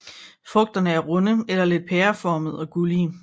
Frugterne er runde eller lidt pæreformede og gullige